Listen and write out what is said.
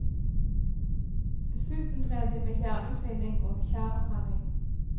Dessuten drev de med jernutvinning og tjærebrenning.